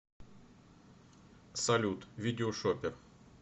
салют видео шопер